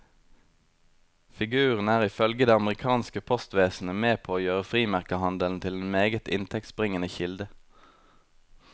Figuren er ifølge det amerikanske postvesenet med på å gjøre frimerkehandelen til en meget inntektsbringende kilde.